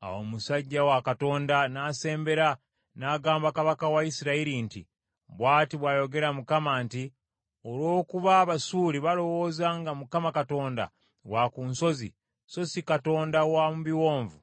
Awo omusajja wa Katonda n’asembera, n’agamba kabaka wa Isirayiri nti, “Bw’ati bw’ayogera Mukama nti, ‘Olw’okuba Abasuuli balowooza nga Mukama Katonda wa ku nsozi so si Katonda wa mu biwonvu,